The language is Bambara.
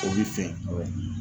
O bɛ fɛ